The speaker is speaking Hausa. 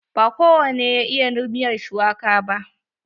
Ba kowane ya iya miyar shuwaka ba.